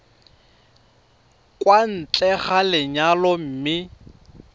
kwa ntle ga lenyalo mme